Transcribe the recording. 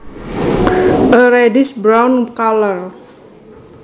A reddish brown color